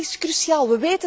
Dat is cruciaal.